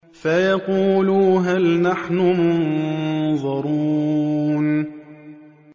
فَيَقُولُوا هَلْ نَحْنُ مُنظَرُونَ